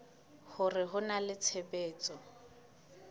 hore ho na le tshebetso